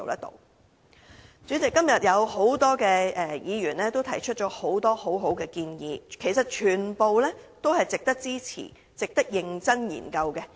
代理主席，多位議員今天都提出了很多很好的建議，其實全部都值得支持和認真研究。